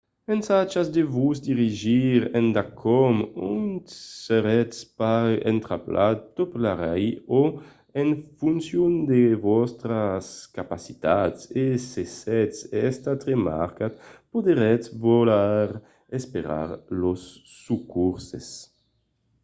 ensajatz de vos dirigir endacòm ont seretz pas entrapelat tornarmai o en foncion de vòstras capacitats e se sètz estat remarcat podretz voler esperar los socorses